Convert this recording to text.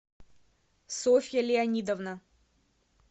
софья леонидовна